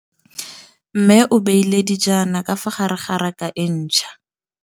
Mmê o beile dijana ka fa gare ga raka e ntšha.